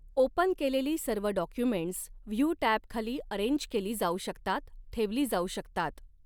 Open केलेली सर्व documents view टॅबखाली अॅरेंज केली जाऊ शकतात, ठेवली जाऊ शकतात.